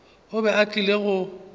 o be a tlile go